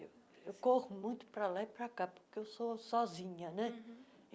Eu corro muito pra lá e pra cá, porque eu sou sozinha, né? uhum